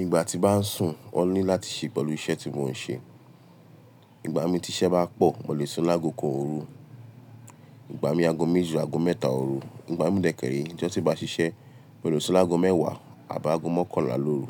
Ìgbà tí bá ń sùn, ó ní láti ṣe pẹ̀lú iṣẹ́ tí mò ń ṣe. Ìgbà mi tí iṣẹ́ bá pọ̀, mo lè sun àgọ́ kan òru, ìgbà mi àgọ́ méjì, àgọ́ mẹ́ta òru, ìgbà mi dẹ́kẹ̀ẹ̀rẹ́, ìjọ tí ó bá ṣiṣẹ́, mo lè sun làgọ́ mẹ́wàá àbá àgọ́ mọ́kànlá lóru.